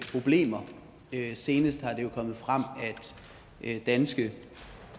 problemer senest er det jo kommet frem at danske